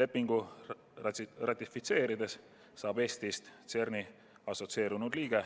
Lepingu ratifitseerides saab Eestist CERN-i assotsieerunud liige,